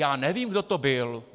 Já nevím, kdo to byl.